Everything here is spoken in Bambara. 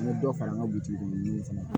N bɛ dɔ fara n ka butigi ninnu fana kan